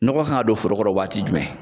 Nɔgɔ kan ka don foro kɔrɔ wagati jumɛn